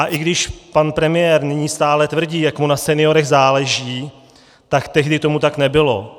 A i když pan premiér nyní stále tvrdí, jak mu na seniorech záleží, tak tehdy tomu tak nebylo.